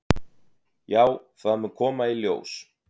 """Já, það mun koma í ljós."""